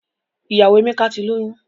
Ìyàwó Emeka ti lóyún.